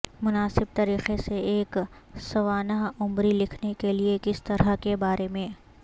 مناسب طریقے سے ایک سوانح عمری لکھنے کے لئے کس طرح کے بارے میں